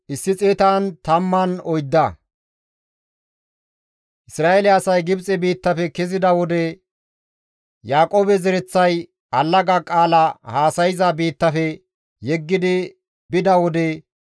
Isra7eele asay Gibxe biittafe kezida wode, Yaaqoobe zereththay allaga qaala haasayza biittafe yeggidi bida wode,